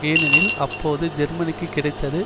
ஏனெனில் அப்போது ஜேர்மனிக்கு கிடைத்தது